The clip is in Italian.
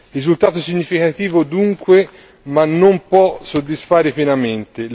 Risultato significativo dunque, ma che non può soddisfare pienamente.